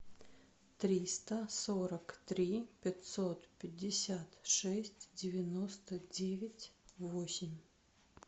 триста сорок три пятьсот пятьдесят шесть девяносто девять восемь